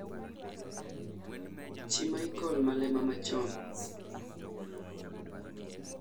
Chi Michael Malema machon